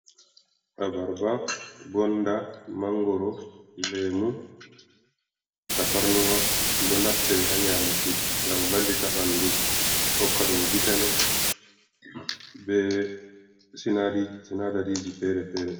abarba, gonda ,mangoro, lemu, ta parnuwa. Do naftire ha nyamuki gam vallita bandu hokkadum vitaman be sinadariji fere-fere.